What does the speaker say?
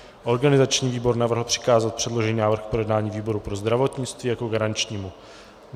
Organizační výbor navrhl přikázat předložený návrh k projednání výboru pro zdravotnictví jako garančnímu.